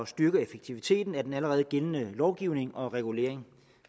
styrke effektiviteten af den allerede gældende lovgivning og regulering